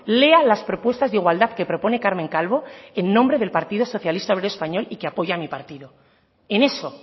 lea las propuestas de igualdad que propone carmen calvo en nombre del partido socialista obrero español y que apoya a mi partido en eso